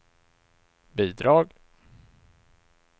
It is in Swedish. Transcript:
bidrag